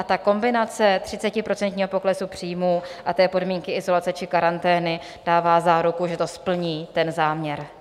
A ta kombinace 30% poklesu příjmů a podmínky izolace či karantény dává záruku, že to splní ten záměr.